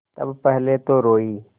तब पहले तो रोयी